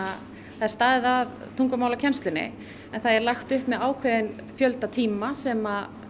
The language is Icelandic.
er staðið að tungumálakennslunni en það er lagt upp með ákveðinn fjölda tíma sem